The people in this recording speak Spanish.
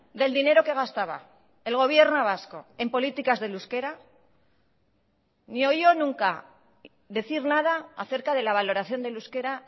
del dinero que gastaba el gobierno vasco en políticas del euskera ni oyó nunca decir nada acerca de la valoración del euskera